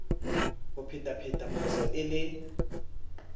o phethaphetha phoso e le